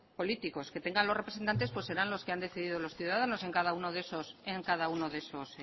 políticos que tengan los representantes pues serán los que han decidido los ciudadanos en cada uno